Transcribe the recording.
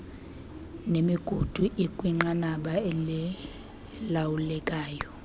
nemigudu ikwinqanaba elilawulekayo